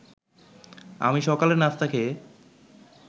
আমি সকালের নাস্তা খেয়ে